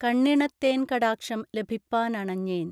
കണ്ണിണത്തേൻ കടാക്ഷം ലഭിപ്പാനണഞ്ഞേൻ